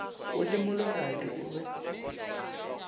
o le mologadi o be